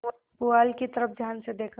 पुआल की तरफ ध्यान से देखा